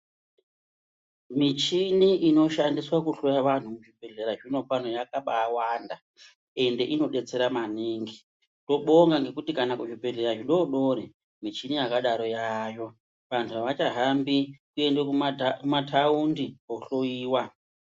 Michini inoshandiswa kuhloya vantu muzvibhedhlera zvinopano yakabawanda ende inobetsera maningi. Tinobonga ngekuti kuzvibhedhlera zvidodori michini yakadaro yaayo. Vanhu avachahambi kuende kumataundi kohloyiwa.